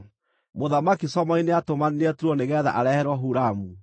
Mũthamaki Solomoni nĩatũmanire Turo nĩgeetha areherwo Huramu,